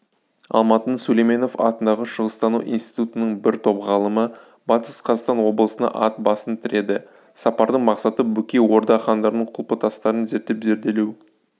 алматының сүлейменов атындағы шығыстану институтының бір топ ғалымы батыс қазақстан облысына ат басын тіреді сапардың мақсаты бөкей орда хандарының құлпытастарын зерттеп-зерделеу